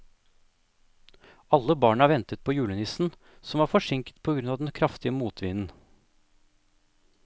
Alle barna ventet på julenissen, som var forsinket på grunn av den kraftige motvinden.